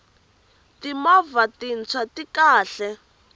timovha tintshwa ti kahle